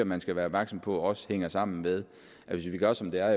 man skal være opmærksom på at det også hænger sammen med at hvis vi gør som der